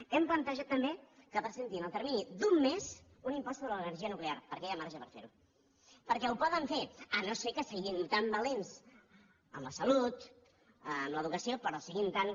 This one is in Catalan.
hem plantejat també que presenti en el termini d’un mes un impost sobre l’energia nuclear perquè hi ha marge per fer ho perquè ho poden fer si no és que són tan valents amb la salut amb l’educació però són tan